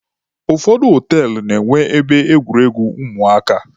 Ụfọdụ họtelụ na-enwe ebe egwuregwu ụmụaka.